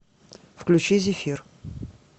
включи зефир